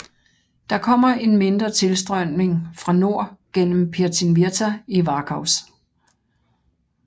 Der kommer en mindre tilstrømning er fra nord gennem Pirtinvirta i Varkaus